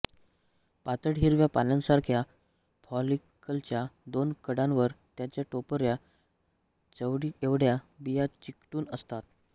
पातळ हिरव्या पानांसारख्या फॉलिकलच्या दोन कडांवर याच्या टपोऱ्या चवळीएवढ्या बिया चिकटून असतात